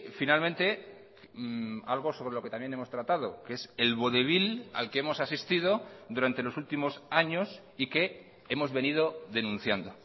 finalmente algo sobre lo que también hemos tratado que es el vodevil al que hemos asistido durante los últimos años y que hemos venido denunciando